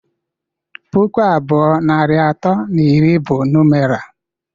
Pụkụ abụọ, narị atọ na iri bụ numera